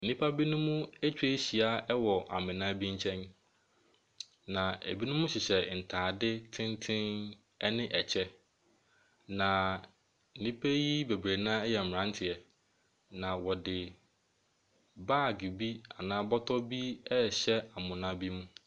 Nnipa binom atwa ahyia wɔ amena bi nkyɛn. Na ebinom hyehyɛ ntaade tenten ne ɛkyɛ, na nnipa yi bebree yɛ mmaranteɛ. Na wɔde bag anaa bɔtɔ rehyɛ amena bi mu.